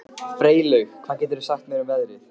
Freylaug, hvað geturðu sagt mér um veðrið?